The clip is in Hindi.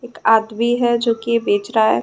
एक आदमी है जो की बेच रहा है।